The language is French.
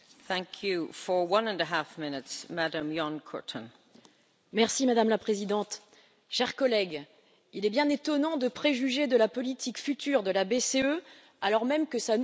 Madame la Présidente, chers collègues, il est bien étonnant de préjuger de la politique future de la BCE, alors même que sa nouvelle présidente, Christine Lagarde, ne prendra ses fonctions que dans quelques semaines.